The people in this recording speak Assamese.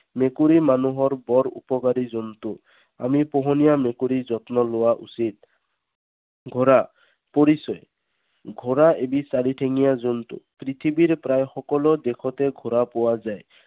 মেকুৰী মানুহৰ বৰ উপকাৰী জন্তু। আমি পোহনীয়া মেকুৰীৰ যত্ন লোৱা উচিত। ঘোঁৰা। পৰিচয়। ঘোঁৰা এবিধ চাৰিঠেঙীয়া জন্তু। পৃথিৱীৰ প্ৰায় সকলো দেশতে ঘোঁৰা পোৱা যায়।